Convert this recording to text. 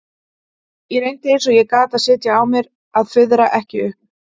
Ég reyndi eins og ég gat að sitja á mér að fuðra ekki upp.